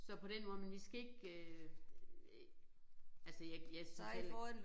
Så på den måde men vi skal ikke øh altså jeg jeg synes heller ikke